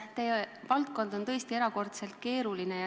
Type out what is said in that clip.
Teie valdkond on tõesti erakordselt keeruline.